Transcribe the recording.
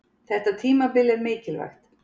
Þetta tímabil er mikilvægt.